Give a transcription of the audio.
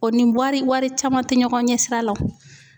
O ni wari wari caman te ɲɔgɔn ɲɛ sira la o.